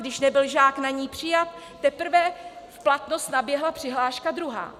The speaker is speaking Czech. Když nebyl žák na ni přijat, teprve v platnost naběhla přihláška druhá.